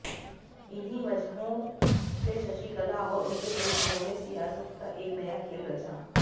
इन्हीं वजहों शशिकला और उनके परिजनों ने सियासत का एक नया खेल रचा